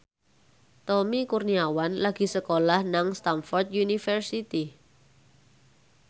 Tommy Kurniawan lagi sekolah nang Stamford University